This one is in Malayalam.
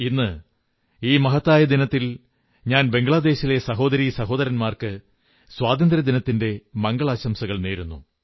ഇന്ന് ഈ മഹത്തായ ദിനത്തിൽ ഞാൻ ബംഗ്ളാദേശിലെ സഹോദരീ സഹോദരന്മാർക്ക് സ്വാതന്ത്ര്യദിനത്തിന്റെ മംഗളാശംസകൾ നേരുന്നു